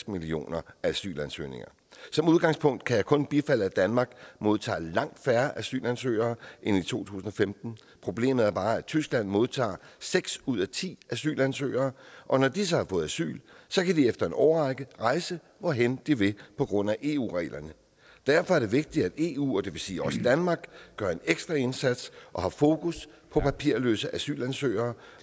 millioner asylansøgninger som udgangspunkt kan jeg kun bifalde at danmark modtager langt færre asylansøgere end i to tusind og femten problemet er bare at tyskland modtager seks ud af ti asylansøgere og når de så har fået asyl kan de efter en årrække rejse hvorhen de vil på grund af eu reglerne derfor er det vigtigt at eu og det vil sige også danmark gør en ekstra indsats og har fokus på papirløse asylansøgere